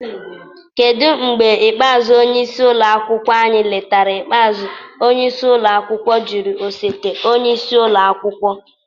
Kedu mgbe ikpeazụ onye isi ụlọ akwụkwọ anyị letara ikpeazụ? onyeisi ụlọ akwụkwọ jụrụ osote onye isi ụlọ akwụkwọ.